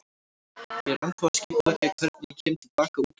Ég er ennþá að skipuleggja hvernig ég kem til baka út úr þessu.